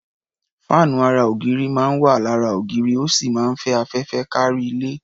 Fáànù ara ògiri máa ń wà lára ògiri, ó sì máa ń fẹ́ afẹ́fẹ́ kárí ilé.